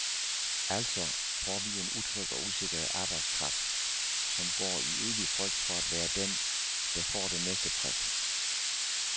Altså får vi en utryg og usikker arbejdskraft, som går i evig frygt for at være den, der får det næste prik.